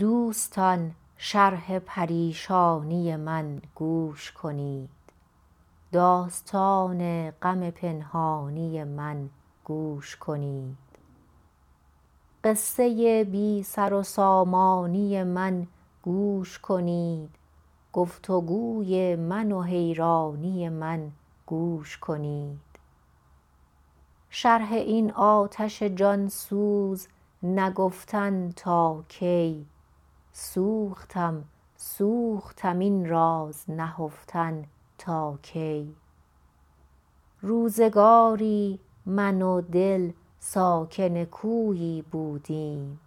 دوستان شرح پریشانی من گوش کنید داستان غم پنهانی من گوش کنید قصه بی سر و سامانی من گوش کنید گفت وگوی من و حیرانی من گوش کنید شرح این آتش جان سوز نگفتن تا کی سوختم سوختم این راز نهفتن تا کی روزگاری من و دل ساکن کویی بودیم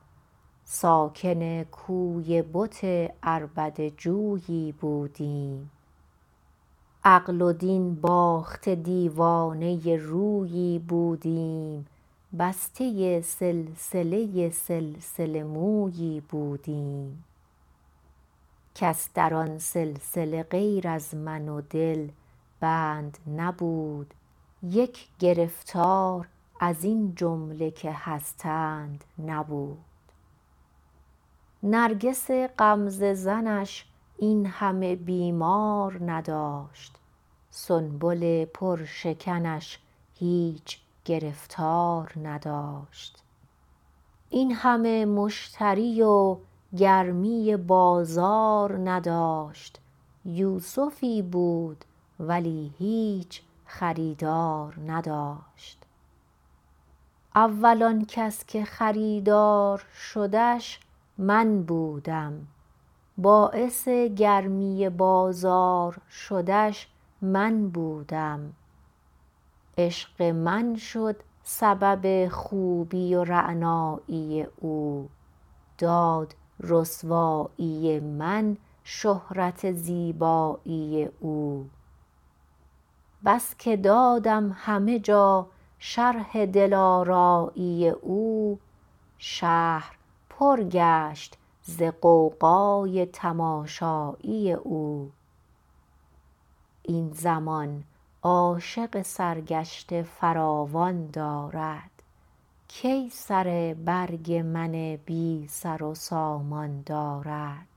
ساکن کوی بت عربده جویی بودیم عقل و دین باخته دیوانه رویی بودیم بسته سلسله سلسله مویی بودیم کس در آن سلسله غیر از من و دل بند نبود یک گرفتار از این جمله که هستند نبود نرگس غمزه زنش این همه بیمار نداشت سنبل پر شکنش هیچ گرفتار نداشت این همه مشتری و گرمی بازار نداشت یوسفی بود ولی هیچ خریدار نداشت اول آن کس که خریدار شدش من بودم باعث گرمی بازار شدش من بودم عشق من شد سبب خوبی و رعنایی او داد رسوایی من شهرت زیبایی او بس که دادم همه جا شرح دلآرایی او شهر پر گشت ز غوغای تماشایی او این زمان عاشق سرگشته فراوان دارد کی سر برگ من بی سر و سامان دارد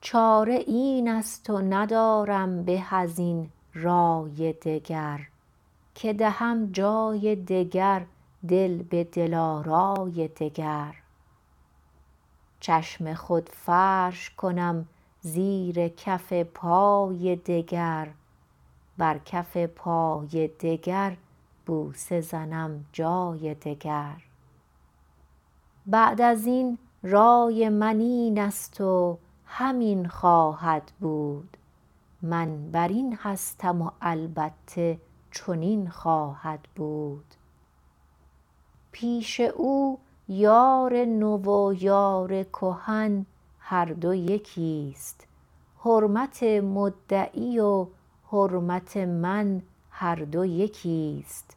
چاره این است و ندارم به از این رأی دگر که دهم جای دگر دل به دل آرای دگر چشم خود فرش کنم زیر کف پای دگر بر کف پای دگر بوسه زنم جای دگر بعد از این رای من این است و همین خواهد بود من بر این هستم و البته چنین خواهد بود پیش او یار نو و یار کهن هر دو یکی ست حرمت مدعی و حرمت من هر دو یکی ست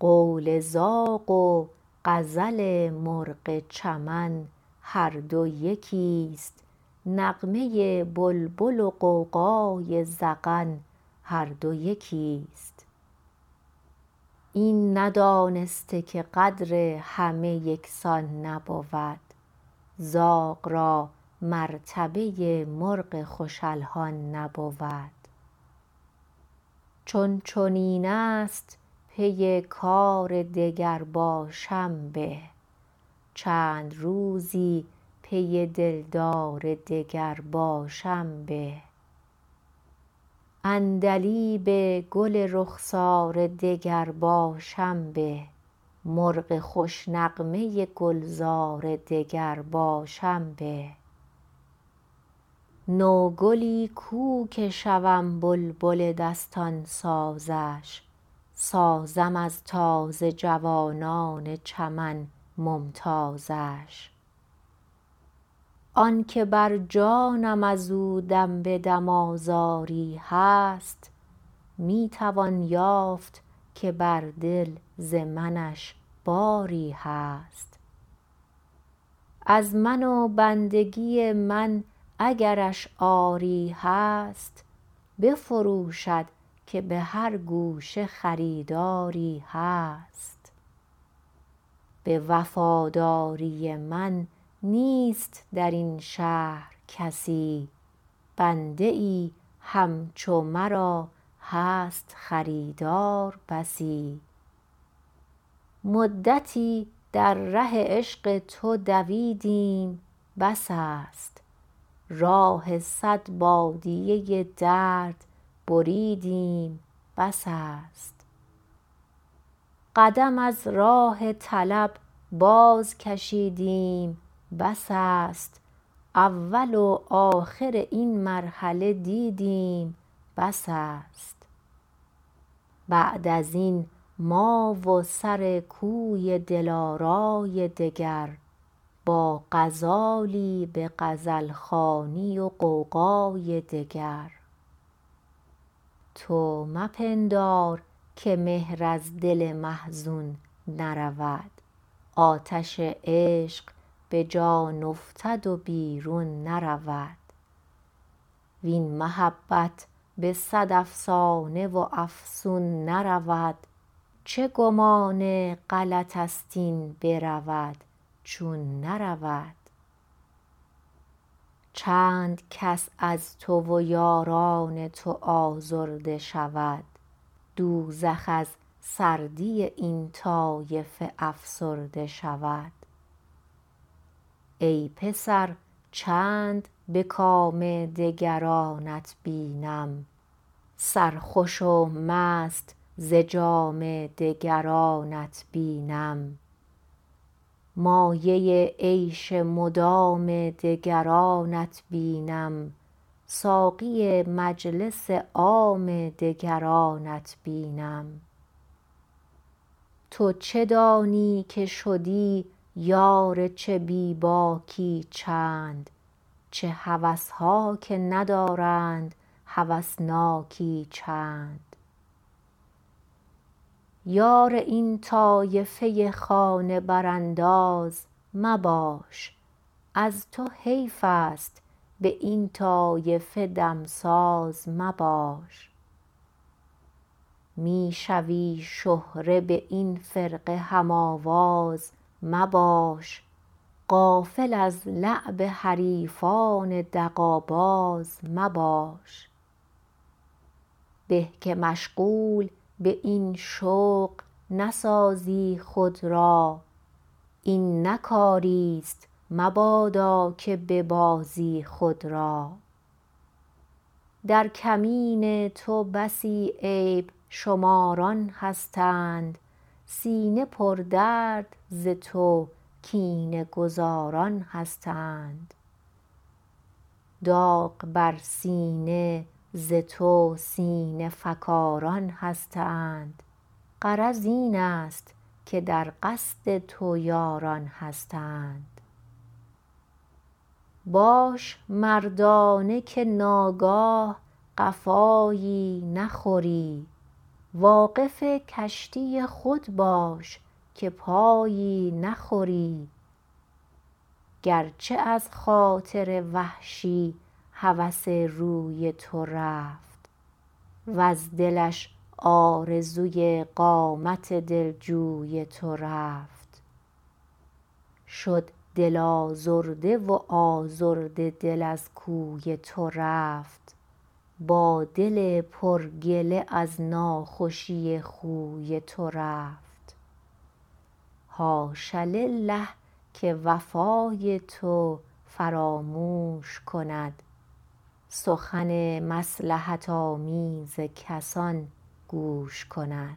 قول زاغ و غزل مرغ چمن هر دو یکی ست نغمه بلبل و غوغای زغن هر دو یکی ست این ندانسته که قدر همه یکسان نبود زاغ را مرتبه مرغ خوش الحان نبود چون چنین است پی کار دگر باشم به چند روزی پی دلدار دگر باشم به عندلیب گل رخسار دگر باشم به مرغ خوش نغمه گلزار دگر باشم به نوگلی کو که شوم بلبل دستان سازش سازم از تازه جوانان چمن ممتازش آن که بر جانم از او دم به دم آزاری هست می توان یافت که بر دل ز منش باری هست از من و بندگی من اگرش عاری هست بفروشد که به هر گوشه خریداری هست به وفاداری من نیست در این شهر کسی بنده ای همچو مرا هست خریدار بسی مدتی در ره عشق تو دویدیم بس است راه صد بادیه درد بریدیم بس است قدم از راه طلب باز کشیدیم بس است اول و آخر این مرحله دیدیم بس است بعد از این ما و سر کوی دل آرای دگر با غزالی به غزل خوانی و غوغای دگر تو مپندار که مهر از دل محزون نرود آتش عشق به جان افتد و بیرون نرود وین محبت به صد افسانه و افسون نرود چه گمان غلط است این برود چون نرود چند کس از تو و یاران تو آزرده شود دوزخ از سردی این طایفه افسرده شود ای پسر چند به کام دگرانت بینم سرخوش و مست ز جام دگرانت بینم مایه عیش مدام دگرانت بینم ساقی مجلس عام دگرانت بینم تو چه دانی که شدی یار چه بی باکی چند چه هوس ها که ندارند هوسناکی چند یار این طایفه خانه برانداز مباش از تو حیف است به این طایفه دمساز مباش می شوی شهره به این فرقه هم آواز مباش غافل از لعب حریفان دغل باز مباش به که مشغول به این شغل نسازی خود را این نه کاری ست مبادا که ببازی خود را در کمین تو بسی عیب شماران هستند سینه پردرد ز تو کینه گذاران هستند داغ بر سینه ز تو سینه فکاران هستند غرض این است که در قصد تو یاران هستند باش مردانه که ناگاه قفایی نخوری واقف کشتی خود باش که پایی نخوری گر چه از خاطر وحشی هوس روی تو رفت وز دلش آرزوی قامت دلجوی تو رفت شد دل آزرده و آزرده دل از کوی تو رفت با دل پر گله از ناخوشی خوی تو رفت حاش لله که وفای تو فراموش کند سخن مصلحت آمیز کسان گوش کند